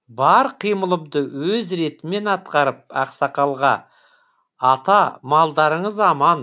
бар қимылымды өз ретімен атқарып ақсақалға ата малдарыңыз аман